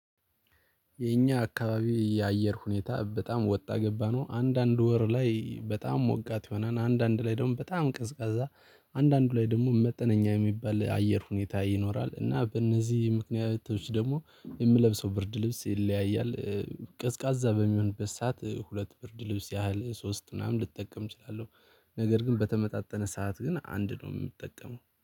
የኛ አካባቢ የአየር ሁኔታ በጣም ወጣ ገባ ነው አንዳንድ ወር ላይ በጣም ሞቃት ይሆናን አንዳንድ ላይ ደግሞ በጣም ቀዝቃዛ አንዳንዱ ላይ ደግሞ መጠነኛ የሚባል አየር ሁኔታ ይኖራል። እና በእነዚህ ምክንያቶች ደግሞ የምለብሰው ብርድ ልብስ ይለያያል። ቀዝቃዛ በሚሆን ሰዓት ሁለት ብርድ ልብስ ያህል ሶስት ምናምን ልጠቀም እችላለሁ። ነገር ግን በተመጣጠነ ሰዓት ግን አንድ ነው የምጠቀመው